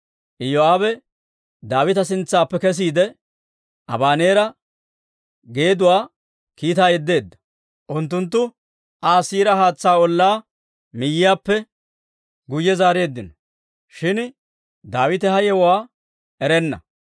Iyoo'aabe Daawita sintsaappe kesiide, Abaneera geeduwaa kiitaa yeddeedda; unttunttu Aa Siira haatsaa ollaa miyaappe guyye zaareeddino; shin Daawite ha yewuwaa erenna.